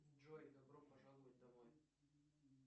джой добро пожаловать домой